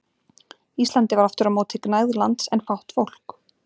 Íslandi var aftur á móti gnægð lands en fátt fólk.